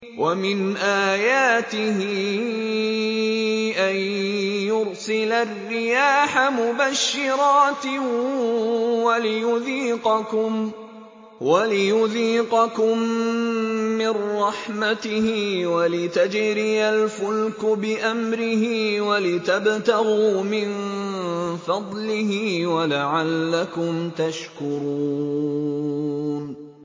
وَمِنْ آيَاتِهِ أَن يُرْسِلَ الرِّيَاحَ مُبَشِّرَاتٍ وَلِيُذِيقَكُم مِّن رَّحْمَتِهِ وَلِتَجْرِيَ الْفُلْكُ بِأَمْرِهِ وَلِتَبْتَغُوا مِن فَضْلِهِ وَلَعَلَّكُمْ تَشْكُرُونَ